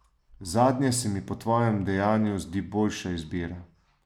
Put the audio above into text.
Zadnje se mi po tvojem dejanju zdi boljša izbira.